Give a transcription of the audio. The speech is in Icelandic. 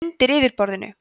„undir yfirborðinu“